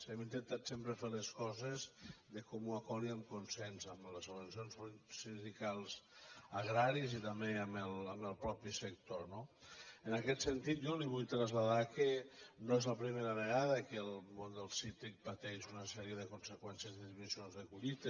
hem intentat sempre fer les coses de comú acord i amb consens amb les organitzacions sindicals agràries i també amb el mateix sector no en aquest sentit jo li vull traslladar que no és la primera vegada que el món del cítric pateix una sèrie de conseqüències de disminucions de collites